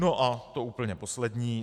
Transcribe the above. No a to úplně poslední.